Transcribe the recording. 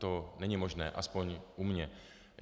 To není možné aspoň u mě.